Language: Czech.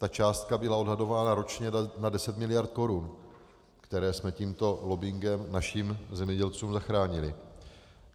Ta částka byla odhadována ročně na 10 mld. korun, které jsme tímto lobbingem našim zemědělcům zachránili.